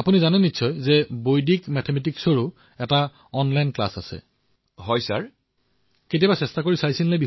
আপুনি আগলৈ কি হব বিচাৰিছে